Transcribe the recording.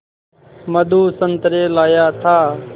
मधु संतरे लाया था